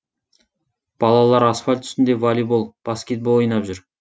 балалар асфальт үстінде волейбол баскетбол ойнап жүр